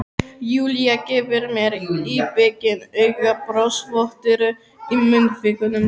Júlía gefur mér íbyggin auga, brosvottur í munnvikunum.